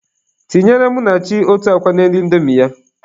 Tinyere Munachi otu akwa n'elu indomi ya.